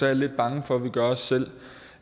jeg lidt bange for at vi gør os selv